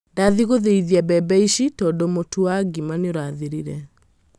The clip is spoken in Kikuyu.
Ndathie gũtheithia mbembe ici tũndũ mũtu wa ngima nĩ ũrathirire.